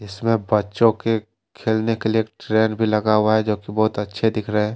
इसमें बच्चों के खेलने के लिए ट्रेन भी लगा हुआ है जो कि बहुत अच्छे दिख रहे हैं।